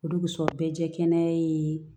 O de kosɔn be jɛ kɛnɛya ye